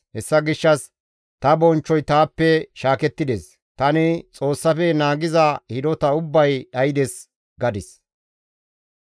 Hessa gishshas, «Ta bonchchoy taappe shaakettides; tani Xoossafe naagiza hidota ubbay dhaydes» gadis.